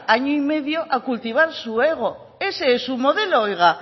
año y medio a cultivar su ego ese es su modelo oiga